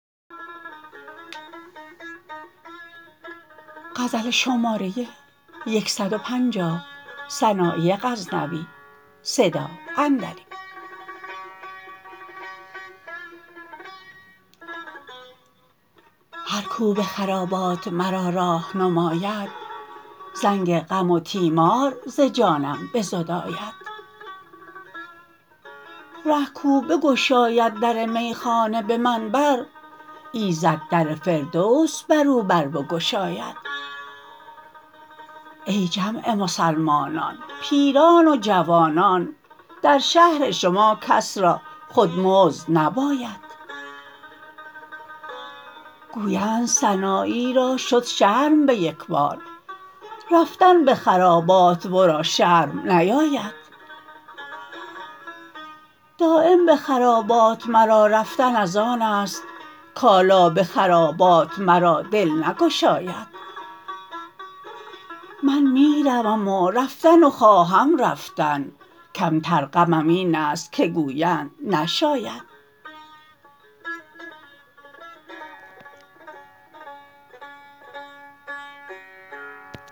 هر کو به خرابات مرا راه نماید زنگ غم و تیمار ز جانم بزداید ره کو بگشاید در میخانه به من بر ایزد در فردوس برو بر بگشاید ای جمع مسلمانان پیران و جوانان در شهر شما کس را خود مزد نباید گویند سنایی را شد شرم به یک بار رفتن به خرابات ورا شرم نیاید دایم به خرابات مرا رفتن از آن ست کالا به خرابات مرا دل نگشاید من می روم و رفتن و خواهم رفتن کم تر غمم این ست که گویند نشاید